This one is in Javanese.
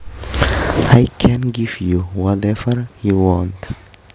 I can give you whatever you want